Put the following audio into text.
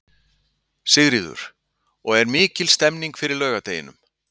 Sigríður: Og er mikil stemning fyrir laugardeginum?